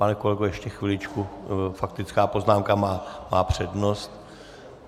Pane kolego, ještě chviličku, faktická poznámka má přednost.